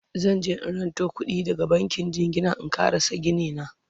zanje in ranto kuɗi daga bankin jingina in ƙarasa Gini na